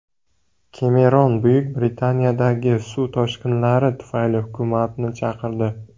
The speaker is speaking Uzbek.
Kemeron Buyuk Britaniyadagi suv toshqinlari tufayli hukumatni chaqirdi.